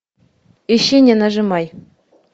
ищи не нажимай